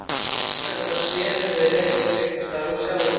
Sagt er að það tré muni reka upp einhvers staðar á Sjálandi.